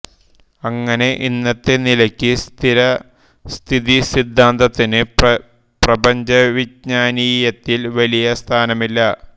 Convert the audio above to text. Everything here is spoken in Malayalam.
അങ്ങനെ ഇന്നത്തെ നിലയ്ക്ക് സ്ഥിരസ്ഥിതി സിദ്ധാന്തത്തിന് പ്രപഞ്ചവിജ്ഞാനീയത്തിൽ വലിയ സ്ഥാനമില്ല